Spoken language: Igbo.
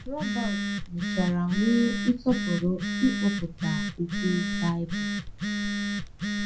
Robert mechara nwee nsọpụrụ ịkpọpụta okwu Baịbụl.